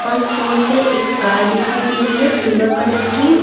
उस फ्लोर पे एक कार दिखाई दे रही है सिल्वर कलर की।